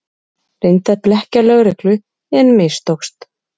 Reyndi að blekkja lögreglu en mistókst